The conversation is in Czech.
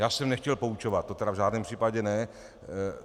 Já jsem nechtěl poučovat, to tedy v žádném případě ne.